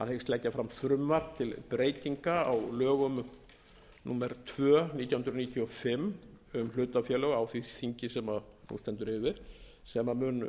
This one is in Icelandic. hyggst leggja fram frumvarp til breytinga á lögum númer tvö nítján hundruð níutíu og fimm um hlutafélög á því þingi sem nú stendur yfir sem mun